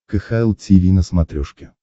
кхл тиви на смотрешке